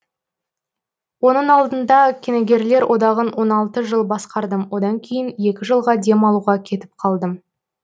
оның алдында киногерлер одағын он алты жыл басқардым одан кейін екі жылға демалуға кетіп қалдым